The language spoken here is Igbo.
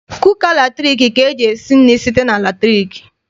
Kuka latriki ka eji esi nri site na latriki.